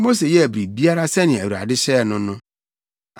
Mose yɛɛ biribiara sɛnea Awurade hyɛɛ no no.